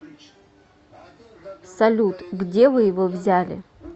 салют где вы его взяли